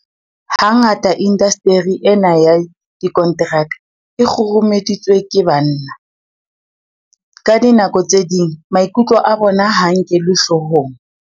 Hangata indasteri ena ya dikonteraka e kgurumeditswe ke banna. Ka dinako tse ding maikutlo a bona ha a nkelwe hloohong.